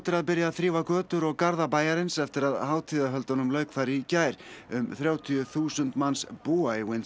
að byrja að þrífa götur og garða bæjarins eftir að hátíðarhöldunum lauk í gær um þrjátíu þúsund manns búa í